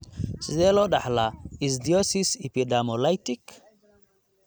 Sidee loo dhaxlaa ichthyosis epidermolytic?